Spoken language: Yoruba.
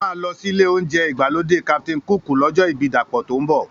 A máa lọ sílé oúnjẹ ìgbàlódé Captain Cook lọ́jọ́ ibí Dapọ̀ tó ń bọ̀